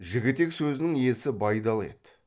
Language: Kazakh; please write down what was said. жігітек сөзінің иесі байдалы еді